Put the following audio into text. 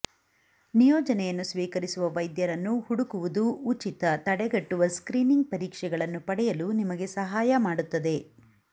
ನಿಯೋಜನೆಯನ್ನು ಸ್ವೀಕರಿಸುವ ವೈದ್ಯರನ್ನು ಹುಡುಕುವುದು ಉಚಿತ ತಡೆಗಟ್ಟುವ ಸ್ಕ್ರೀನಿಂಗ್ ಪರೀಕ್ಷೆಗಳನ್ನು ಪಡೆಯಲು ನಿಮಗೆ ಸಹಾಯ ಮಾಡುತ್ತದೆ